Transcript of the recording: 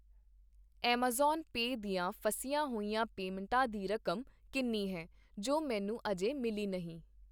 Amazon pay ਦੀਆਂ ਫਸੀਆਂ ਹੋਈਆਂ ਪੇਮਟਾਂ ਦੀ ਰਕਮ ਕਿੰਨੀ ਹੈ ,ਜੋ ਮੈਨੂੰ ਅਜੇ ਮਿਲੀ ਨਹੀਂ